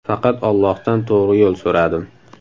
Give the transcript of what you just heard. Faqat Allohdan to‘g‘ri yo‘l so‘radim.